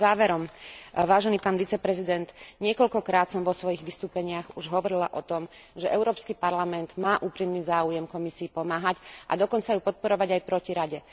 Záverom, vážený pán viceprezident, niekoľko krát som vo svojich vystúpeniach už hovorila o tom, že Európsky parlament má úprimný záujem Komisii pomáhať a dokonca ju podporovať aj proti Rade.